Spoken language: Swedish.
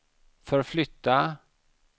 förflytta